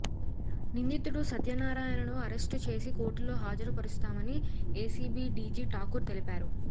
నిందితుడు సత్యనారాయణను అరెస్టు చేసి కోర్టులో హాజరుపరుస్తామని ఏసీబీ డీజీ ఠాకూర్ తెలిపారు